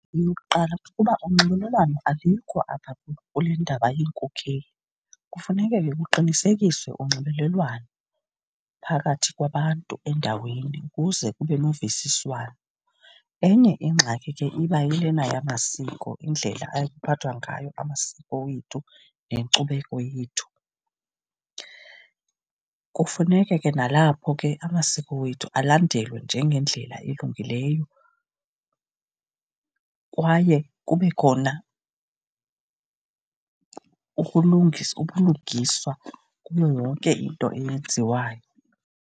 Eyokuqala, kukuba unxibelelwano alikho apha kule ndaba yeenkokeli. Kufuneke ke kuqinisekiswe unxibelelwano phakathi kwabantu endaweni ukuze kube nokuvisisana. Enye ingxaki ke iba yilena yamamasiko, indlela aphathwa ngayo amasiko wethu nenkcubeko yethu. Kufuneke ke nalapho ke amasiko wethu alandelwe njengendlela elungileyo kwaye kube khona ubulungiswa kuyo yonke into eyenziwayo.